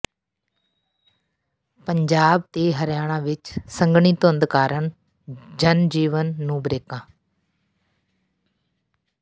ਪੰਜਾਬ ਤੇ ਹਰਿਆਣਾ ਵਿੱਚ ਸੰਘਣੀ ਧੁੰਦ ਕਾਰਨ ਜਨ ਜੀਵਨ ਨੂੰ ਬਰੇਕਾਂ